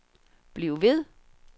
bliv ved